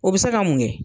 O bɛ se ka mun kɛ